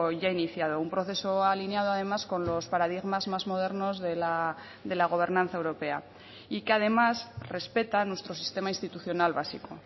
ya iniciado un proceso alineado además con los paradigmas más modernos de la gobernanza europea y que además respeta nuestro sistema institucional básico